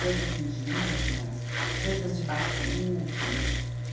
Danças indígenas, danças de batuques.